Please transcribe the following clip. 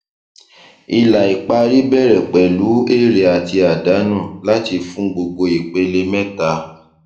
ilà ìparí bẹrẹ pẹlú èrè àti àdánù láti fún gbogbo ìpele mẹta